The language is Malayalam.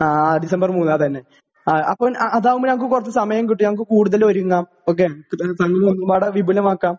ആഹ് ഡിസംബർ മൂന്നു അതന്നെ അതാവുമ്പോൾ നമുക്ക് കുറച്ച സമയം കിട്ടും ഞങ്ങൾക്ക് കൂടുതൽ ഒരുങ്ങാം . ഉൽഘടനം വിപുലമാക്കാം